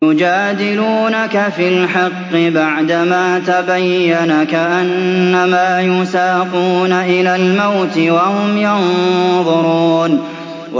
يُجَادِلُونَكَ فِي الْحَقِّ بَعْدَمَا تَبَيَّنَ كَأَنَّمَا يُسَاقُونَ إِلَى الْمَوْتِ وَهُمْ يَنظُرُونَ